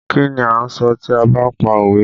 Kí ni a ń sọ tí a ba pa òwe?